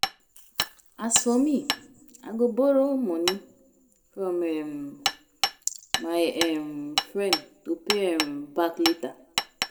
As for me I go borrow .money from um my um friend to pay um back later